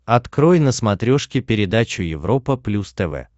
открой на смотрешке передачу европа плюс тв